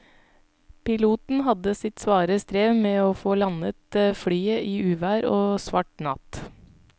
Piloten hadde sitt svare strev med å få landet flyet i uvær og svart natt.